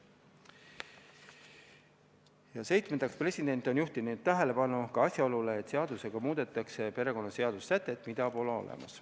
Ja seitsmendaks, president on juhtinud tähelepanu ka asjaolule, et seadusega muudetakse perekonnaseaduse sätet, mida pole olemas.